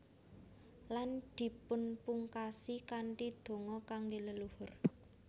Lan dipunpungkasi kanthi donga kangge leluhur